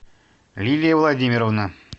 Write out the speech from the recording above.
лилия владимировна